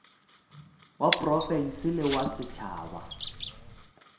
wa profense le wa setšhaba